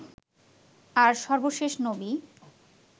আর সর্বশেষ নবী